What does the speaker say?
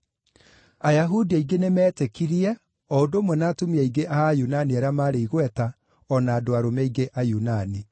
Ayahudi aingĩ nĩmetĩkirie, o ũndũ ũmwe na atumia aingĩ a Ayunani arĩa maarĩ igweta, o na andũ arũme aingĩ Ayunani.